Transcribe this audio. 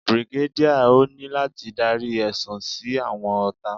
Brigadier, o ni lati darí ẹsun si awọn ọta.